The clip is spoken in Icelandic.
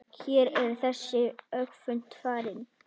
Hér er þessu öfugt farið.